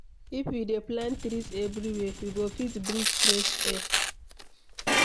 If we dey plant trees everywhere, we go fit breathe fresh air